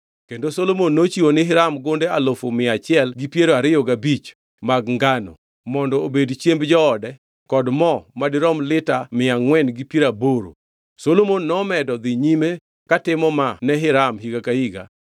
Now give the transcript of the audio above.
kendo Solomon nochiwo ni Hiram gunde alufu mia achiel gi piero ariyo gabich mag ngano mondo obed chiemb joode kod mo madirom lita mia angʼwen gi piero aboro. Solomon nomedo dhi nyime katimo maa ne Hiram higa ka higa.